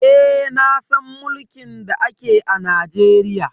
Eh nasan mulkin da ake a Najeriya.